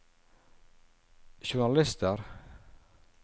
journalister